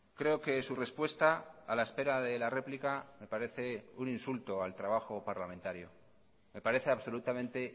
creo que su respuesta a la espera de la réplica me parece un insulto al trabajo parlamentario me parece absolutamente